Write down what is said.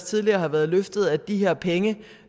tidligere har været løftet at de her penge